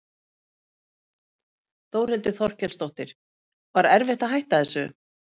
Þórhildur Þorkelsdóttir: Var erfitt að hætta þessu?